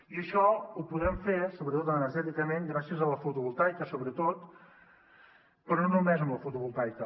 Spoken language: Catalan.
i això ho podrem fer energèticament gràcies a la fotovoltaica sobretot però no només amb la fotovoltaica